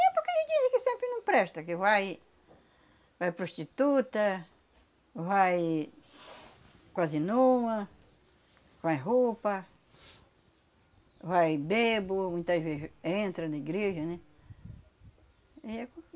É porque dizem que sempre não presta, que vai vai prostituta, vai quase nua, vai roupa, vai bêbo, muitas vezes entra na igreja, né?